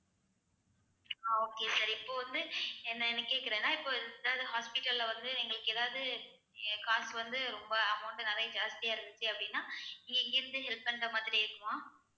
அஹ் okay sir இப்ப வந்து என்னன்னு கேட்கிறேன்னா இப்ப ஏதாவது hospital ல வந்து எங்களுக்கு ஏதாவது காசுக்கு வந்து ரொம்ப amount நிறைய ஜாஸ்தியா இருந்துச்சு அப்படின்னா நீங்க இங்க இருந்து help பண்ற மாதிரி இருக்குமா